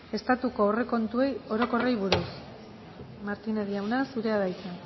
estatuko aurrekontu orokorrei buruz martínez jauna zurea da hitza